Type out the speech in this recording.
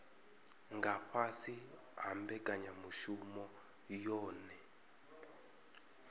nga fhasi ha mbekanyamushumo yohe